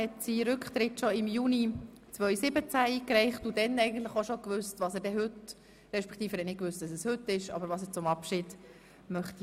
Er hat seinen Rücktritt bereits im Juni 2017 eingereicht und bereits damals gewusst, was er anlässlich seiner Verabschiedung machen möchte.